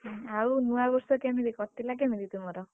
ଉଁ ଆଉ ନୂଆବର୍ଷ କେମିତି କଟିଲା କେମିତି ତୁମର?